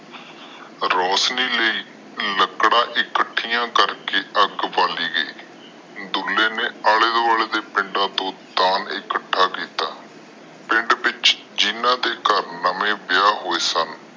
ਰੋਸ਼ਨੀ ਲਾਇ ਲੱਕੜੀਆਂ ਇਕੱਠਿਆ ਕਰਕੇ ਅੱਗ ਬਾਲੀ ਗਯੀ। ਡੁਲ੍ਹੇ ਨੇ ਆਲੇ ਦੁਆਲੇ ਦੇ ਪਿੰਡਾਂ ਚੋ ਦਾਨ ਇਕੱਠਾ ਕੀਤਾ। ਪਿੰਡ ਵਿਚ ਜਿਨ੍ਹਾਂ ਦੇ ਘਰ ਨਵੇਂ ਵਿਆਹ ਹੋਏ ਸਨ